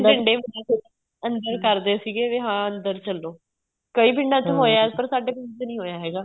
ਡੰਡੇ ਵੀ ਅੰਦਰ ਕਰਦੇ ਸੀਗੇ ਵੀ ਹਾਂ ਅੰਦਰ ਚਲੋਂ ਕਈ ਪਿੰਡਾਂ ਵਿੱਚ ਹੋਇਆ ਏ ਪਰ ਸਾਡੇ ਪਿੰਡ ਵਿੱਚ ਨਹੀਂ ਹੋਇਆ ਹੈਗਾ